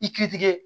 I ki tigɛ